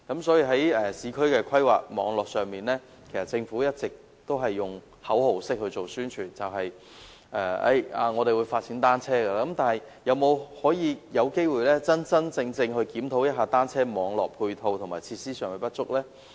在市區規劃上，政府一直只是作口號式的宣傳，說會發展單車，但是否有機會真正檢討單車網絡配套和設施上的不足呢？